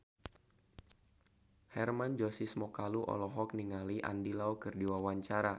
Hermann Josis Mokalu olohok ningali Andy Lau keur diwawancara